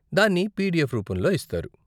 దాన్ని పీడీఎఫ్ రూపంలో ఇస్తారు.